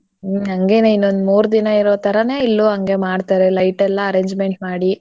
ಹ್ಮ್ ಹಂಗೆನೇ ಇನ್ನೊಂದ್ ಮುರ್ದಿನಾ ಇರೋತರೇ ಇಲ್ಲೂ ಹಂಗೆ ಮಾಡ್ತಾರೆ light ಎಲ್ಲ arrangement ಮಾಡಿ.